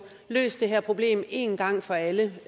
løst det her problem en gang for alle